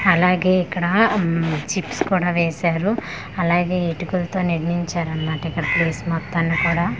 అలాగే ఇక్కడ ఉమ్ చిప్స్ కూడా వేసారు అలాగే ఇటుకలతో నిర్మించారు అన్న మాట ఇక్కడ ప్లేస్ మొత్తాన్ని కూడా--